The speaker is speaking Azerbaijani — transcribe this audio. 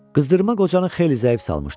Qızdırma qocanı xeyli zəif salmışdı.